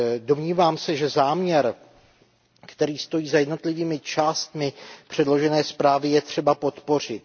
Domnívám se, že záměr, který stojí za jednotlivými částmi předložené zprávy, je třeba podpořit.